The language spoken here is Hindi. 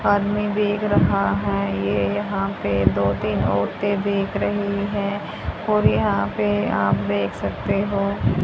आदमी देख रहा है ये यहां पे दो तीन औरतें दीख रही है और यहां पे आप देख सकते हो --